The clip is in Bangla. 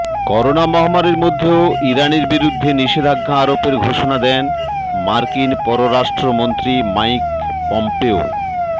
করোনা মহামারীর মধ্যেও ইরানের বিরুদ্ধে নিষেধাজ্ঞা আরোপের ঘোষণা দেন মার্কিন পররাষ্ট্রমন্ত্রী মাইক পম্পেও